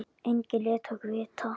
Enginn lét okkur vita.